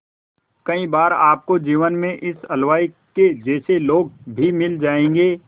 कई बार आपको जीवन में इस हलवाई के जैसे लोग भी मिल जाएंगे